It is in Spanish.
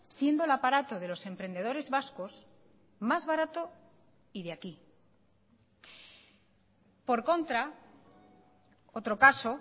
siendo el aparato de los emprendedores vascos más barato y de aquí por contra otro caso